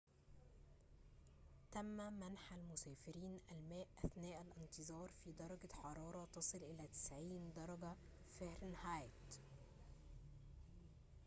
تم منح المسافرين الماء أثناء الانتظار في درجة حرارة تصل إلى 90 درجة فهرنهايت